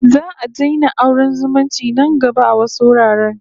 Za'a daina auren zumunci nan gaba a wasu wuraren